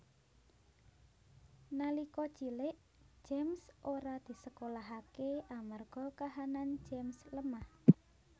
Nalika cilik James ora disekolahaké amarga kahanan James lemah